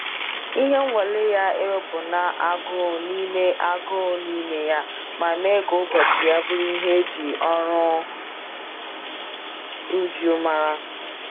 Ihe nwale ya ewepụna agụụ n'ime agụụ n'ime ya, ma mee ka ụbọchị ya bụrụ nke e ji oru uju mara.